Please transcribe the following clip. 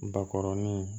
Bakɔrɔnin